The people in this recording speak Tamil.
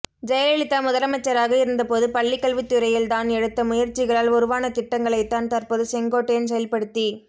ஜெயலலிதா முதலமைச்சராக இருந்தபோது பள்ளிக்கல்வித் துறையில் தான் எடுத்த முயற்சிகளால் உருவான திட்டங்களைத்தான் தற்போது செங்கோட்டையன் செயல்படுத்தி